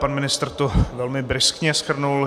Pan ministr to velmi bryskně shrnul.